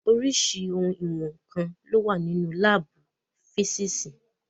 Oríṣirísi ohun ìwọ̀n nǹkan lo wà nínú láàbù físìsì.